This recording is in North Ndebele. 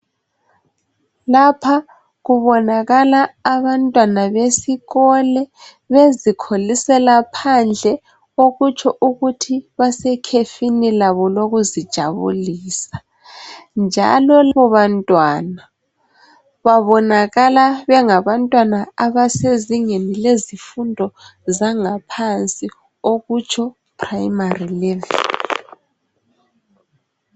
Lapha kubonaka abantwana besikolo bezikholisela phandle okutsho ukuthi basekhefini labo lokuzijabulisa, njalo labo bantwana babonakala bengabantwana abasezingeni lezifundo zangaphansi okutsho Primary level.